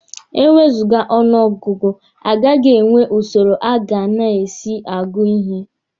E wezụga ọnụ ọgụgụ, agaghị enwe usoro a ga na-esi agụ ihe.